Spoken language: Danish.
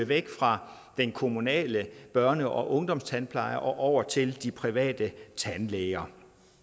væk fra den kommunale børne og ungdomstandpleje og over til de private tandlæger